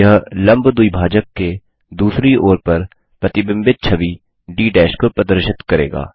यह लम्ब द्विभाजक के दूसरी ओर पर प्रतिबिंबित छवि डी को प्रदर्शित करेगा